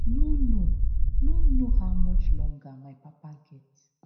no know no know how much longer my papa get